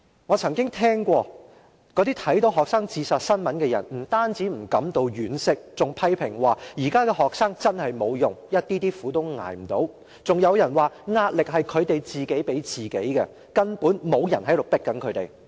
"我曾經聽過有看到學生自殺新聞的人，不但不感到惋惜，還批評說'現在的學生真無用，一點點苦也捱不了'，更有人說'壓力是他們自己給自己的，根本沒人在迫他們'。